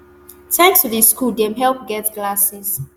thanks to di school dem help get glasses